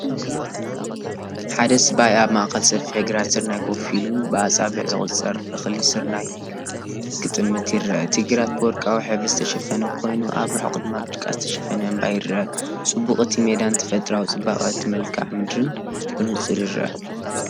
ሓደ ሰብኣይ ኣብ ማእከል ሰፊሕ ግራት ስርናይ ኮፍ ኢሉ፡ብኣጻብዕ ዝቑጸር እኽሊ ስርናይ ክጥምት ይርአ። እቲ ግራት ብወርቃዊ ሕብሪ ዝተሸፈነ ኮይኑ፡ኣብ ርሑቕ ድማ ብጭቃ ዝተሸፈነ እምባ ይርአ። ጽባቐ እቲ ሜዳን ተፈጥሮኣዊ ጽባቐ እቲ መልክዓ ምድርን ብንጹር ይርአ።